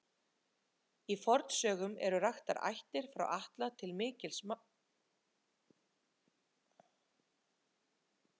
Í fornsögum eru raktar ættir frá Atla til mikils háttar manna.